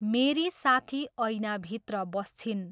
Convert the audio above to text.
मेरी साथी ऐनाभित्र बस्छिन्।